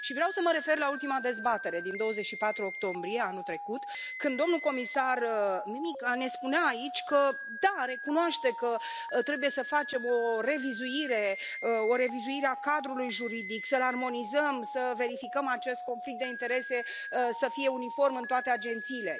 Vreau să mă refer la ultima dezbatere, din 24 octombrie anul trecut, când domnul comisar Mimica ne spunea aici că da, recunoaște că trebuie să facem o revizuire, o revizuire a cadrului juridic, să l armonizăm, să verificăm acest conflict de interese, să fie uniform în toate agențiile.